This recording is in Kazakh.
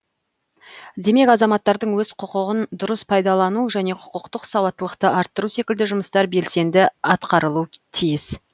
демек азаматтардың өз құқығын дұрыс пайдалану және құқықтық сауаттылықты арттыру секілді жұмыстар белсенді атқарылу тиіс